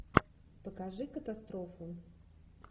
покажи катастрофу